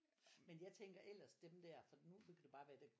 Men jeg tænker ellers dem der for nu nu kan det bare være